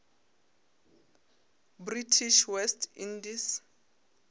british west indies